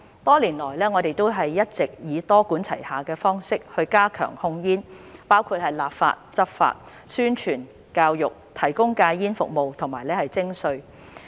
多年來，我們一直以多管齊下的方式加強控煙，包括立法、執法、宣傳、教育、提供戒煙服務和徵稅。